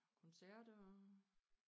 Koncerter og